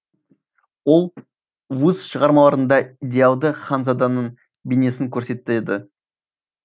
ол өз шығармаларында идеалды ханзаданың бейнесін көрсетеді